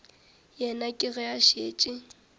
yena ke ge a šetše